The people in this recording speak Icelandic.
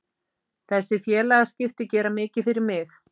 Þessi félagaskipti gera mikið fyrir mig.